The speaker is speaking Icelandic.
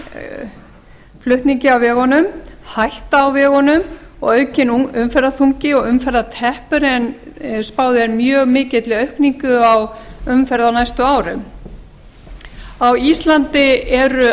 af flutningi á vegunum hætta á vegunum og aukinn umferðarþungi og umferðarteppur en spáð er mjög mikilli aukningu á umferð á næstu árum á íslandi eru